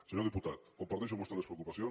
senyor diputat comparteixo amb vostè les preocupacions